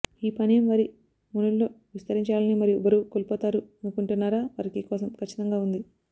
ఈ పానీయం వారి మెనుల్లో విస్తరించాలని మరియు బరువు కోల్పోతారు అనుకుంటున్నారా వారికి కోసం ఖచ్చితంగా ఉంది